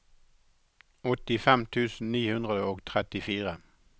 åttifem tusen ni hundre og trettifire